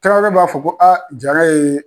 Tarawele b'a fɔ ko Jara yee